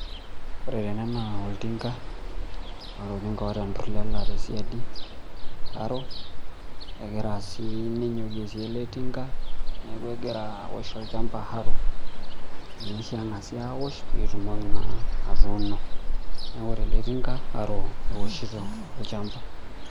Ore tene naa oltinka , neeta enturlel tesiadi egira si ne ele tinka ,niaku egira aosh olchamba petum atuuno , niaku ore eletinka harrow eoshito olchamba.